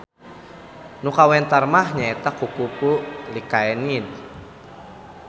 Nu kawentar mah nyaeta kukupu Lycaenid.